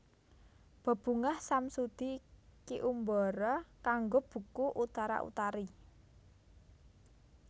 Bebungah Samsudi Ki Umbara kanggo buku Utara Utari